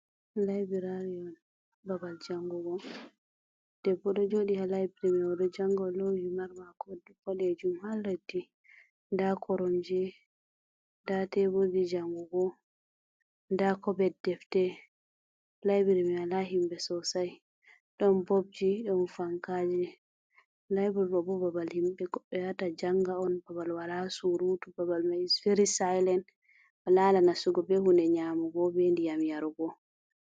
Laibiraar on babal janngugo debbo do jooɗi haaton o ɗo jannga, o loowi himar maako bodeejum haa leddi, ndaa koromje, ndaa teeburji janngugo, nda kobed, defte laibiraari mia ndaa himɓe soosai ɗon bobji, don fankaaji, laibiri ɗo'o bo ɗum babal himɓe yaata wata jannga on, babal walaa suuruutu, babal mai veri sailen a nastata bee huunde nyaamugo bee ndiyam yarugo.